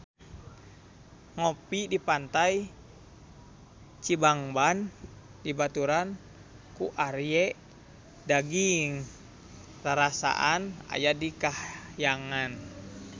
Ngopi di Pantai Cibangban dibaturan ku Arie Daginks rarasaan aya di kahyangan